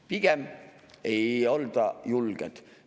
Pigem ei olda julged.